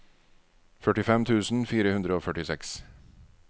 førtifem tusen fire hundre og førtiseks